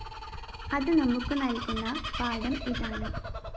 അത് നമുക്ക് നല്‍കുന്ന പാഠം ഇതാണ്